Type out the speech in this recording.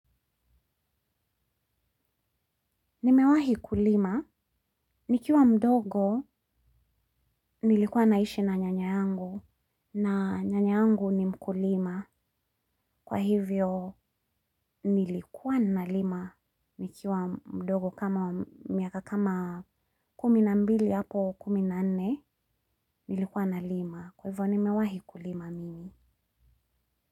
Nimewahi kulima. Nikiwa mdogo, nilikuwa naishi na nyanya yangu. Na nyanya yangu ni mkulima. Kwa hivyo, nilikuwa na lima. Nikiwa mdogo kama miaka kumi na mbili hapo kumi na nne, nilikuwa nalima. Kwa hivyo, nimewahi kulima mimi.